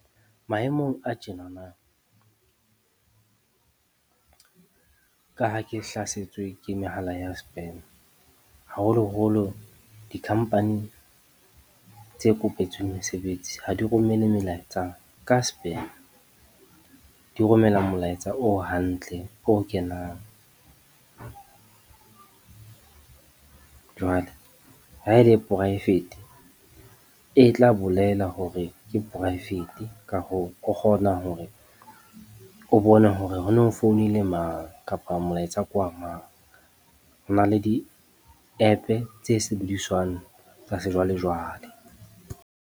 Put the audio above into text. Maemong a tjenana, ka ha ke hlasetswe ke mehala ya spam, haholoholo di-company tse kopetsweng mesebetsi ha di romelle melaetsa ka spam, di romella molaetsa o hantle, o kenang. Jwale, ha e le poraefete e tla bolela hore ke poraefete, ka hoo, o kgona hore o bone hore ho no founile mang kapa molaetsa ke wa mang. Ho na le di-app tse sebediswang tsa sejwalejwale.